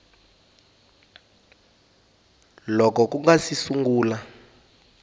loko ku nga si sungula